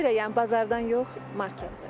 Nəyə görə yəni bazardan yox, marketdən?